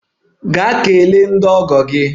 Gaa kelee ndị ọgọ gị!